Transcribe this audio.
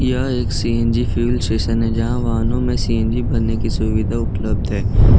यह एक CNG fuel station है जहां वाहनों में सी_एन_जी भरने की सुविधा उपलब्ध है।